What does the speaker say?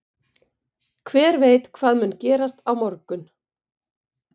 Hver veit hvað mun gerast á morgun?